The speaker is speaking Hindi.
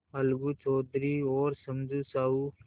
अलगू चौधरी और समझू साहु